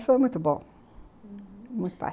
Mas foi muito bom, uhum. muito